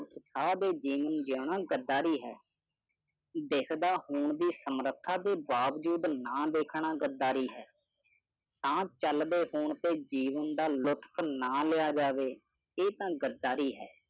ਉਤਸ਼ਾਹ ਦੇ ਜੀਵਨ ਜੀਣਾ ਗੱਦਾਰੀ ਹੈ। ਦਿੱਸਦਾ ਹੋਣ ਦੀ ਸਮਰੱਥਾ ਹੋਣ ਦੇ ਬਾਵਜੂਦ ਨਾ ਦੇਖਣਾ, ਗੱਦਾਰੀ ਹੈ। ਸਾਹ ਚੱਲਦੇ ਹੋਣ ਤੇ ਜੀਵਨ ਦਾ ਲੁੱਤਫ ਨਾਂ ਲਿਆ ਜਾਵੇ ਇਹ ਤਾਂ ਗੱਦਾਰੀ ਹੈ ।